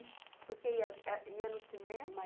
– Por que ia é, ia no cinema?